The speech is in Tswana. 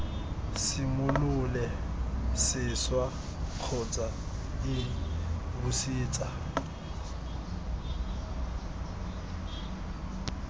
simolole sešwa kgotsa iii busetsa